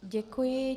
Děkuji.